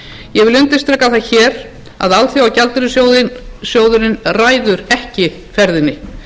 ég vil undirstrika það hér að alþjóðagjaldeyrissjóðurinn ræður ekki ferðinni